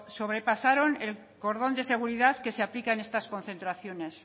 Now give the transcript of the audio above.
sobrepasaron el cordón de seguridad que se aplican en estas concentraciones